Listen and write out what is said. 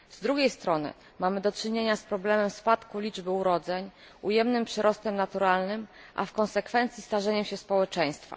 Z drugiej strony mamy do czynienia z problemem spadku liczby urodzeń, ujemnym przyrostem naturalnym, a w konsekwencji starzeniem się społeczeństwa.